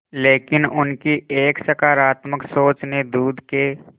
लेकिन उनकी एक सकरात्मक सोच ने दूध के